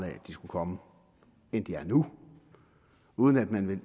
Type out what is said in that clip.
at de skulle komme end de er nu uden at man vel